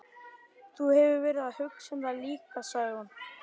Þú hefur verið að hugsa um það líka, sagði hún.